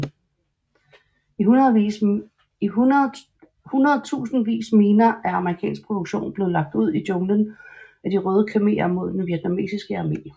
I hundredtusindvis miner af amerikansk produktion blev lagt ud i junglen af De røde khmerer mod den Vietnamesiske armé